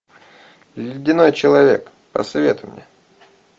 ледяной человек посоветуй мне